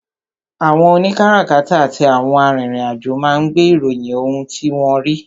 àwọn òní kárakáta àti àwọn arìnrìn-àjò máa ń gbé ìròyìn ohun tí wọ́n rí.